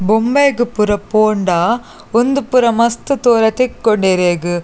ಬೊಂಬೈಗ್ ಪೂರ ಪೋಂಡ ಉಂದು ಪೂರ ಮಸ್ತ್ ತೋರೆಗ್ ತಿಕ್ಕುಂಡು ಇರೆಗ್.